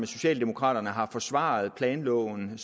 socialdemokraterne har forsvaret planloven